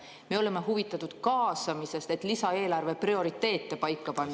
Me oleme huvitatud kaasamisest, et lisaeelarve prioriteete paika panna.